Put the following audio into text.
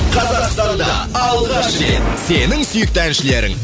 қазақстанда алғаш рет сенің сүйікті әншілерің